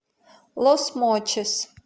лос мочис